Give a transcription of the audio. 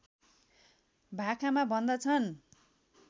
भाकामा भन्दछन्